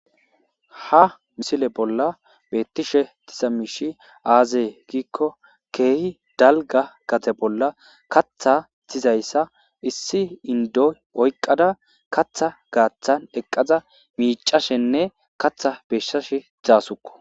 Ha misile bolla beettishe tisa miishi aazee giikko keehi dalga gate bolla katha tizayssa issi indoy oyqqada katha gaaththan eqqaza miicashenne katha beeshshashe dzaasukko